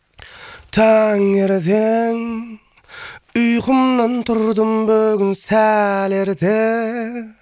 таңертең ұйқымнан тұрдым бүгін сәл ерте